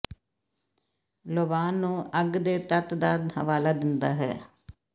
ਲੋਬਾਨ ਨੂੰ ਅੱਗ ਦੇ ਤੱਤ ਦਾ ਹਵਾਲਾ ਦਿੰਦਾ ਹੈ